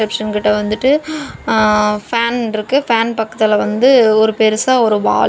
Reception கிட்ட வந்துட்டு ஆ ஃபேன் இருக்கு ஃபேன் பக்கத்துல வந்து ஒரு பெருசா ஒரு வாலு .